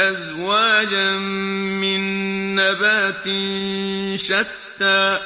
أَزْوَاجًا مِّن نَّبَاتٍ شَتَّىٰ